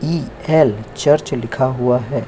ई ल चर्च लिखा हुआ है।